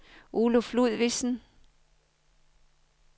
Oluf Ludvigsen